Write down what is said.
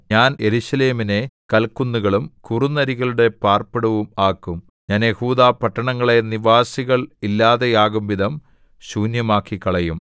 ഞാൻ യെരൂശലേമിനെ കൽക്കുന്നുകളും കുറുനരികളുടെ പാർപ്പിടവും ആക്കും ഞാൻ യെഹൂദാപട്ടണങ്ങളെ നിവാസികൾ ഇല്ലാതെയാകുംവിധം ശൂന്യമാക്കിക്കളയും